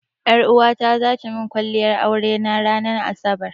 Ƴaruwata zata min kwalliyar aure na ranan asabar.